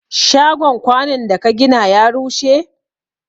Shagon kwanun da ka gina ya rushe?